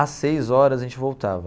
Às seis horas a gente voltava.